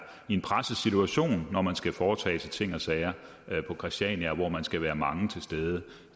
i en presset situation når man skal foretage sig ting og sager på christiania hvor man skal være mange til stede